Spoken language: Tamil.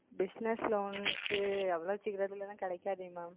Bussiness Loan க்கு அவ்வளவு சீக்கிரத்தில் எல்லாம் கிடைக்காதே Ma'am